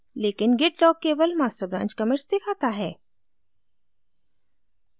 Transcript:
लेकिन git log केवल master branch commits दिखाता है